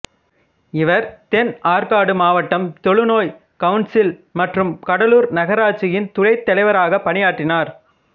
இவர் தென் ஆற்காடு மாவட்டம் தொழுநோய் கவுன்சில் மற்றும் கடலூர் நகராட்சியின் துணைத் தலைவராக பணியாற்றினார்